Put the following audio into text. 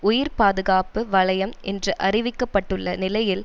உயிர் பாதுகாப்பு வலையம் என்று அறிவிக்க பட்டுள்ள நிலையில்